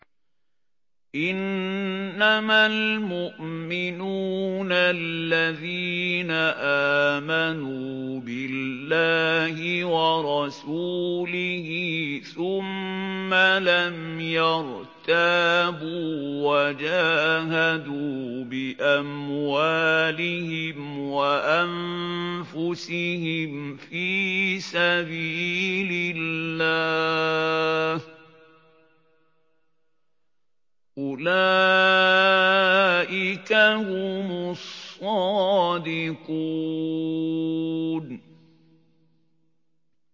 إِنَّمَا الْمُؤْمِنُونَ الَّذِينَ آمَنُوا بِاللَّهِ وَرَسُولِهِ ثُمَّ لَمْ يَرْتَابُوا وَجَاهَدُوا بِأَمْوَالِهِمْ وَأَنفُسِهِمْ فِي سَبِيلِ اللَّهِ ۚ أُولَٰئِكَ هُمُ الصَّادِقُونَ